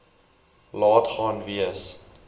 laat gaan wees